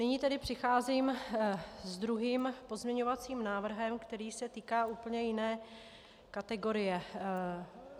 Nyní tedy přicházím s druhým pozměňovacím návrhem, který se týká úplně jiné kategorie.